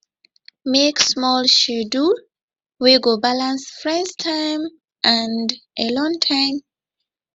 make small schedule wey go balance friends time and alone time